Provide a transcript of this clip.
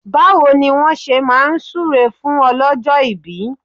Báwo ni wọ́n ṣe máa súre fún ọlọ́jọ́ ìbí?